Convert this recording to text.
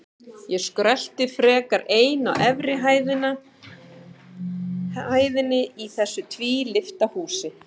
Ég skrölti frekar ein á efri hæðinni í þessu tvílyfta húsi.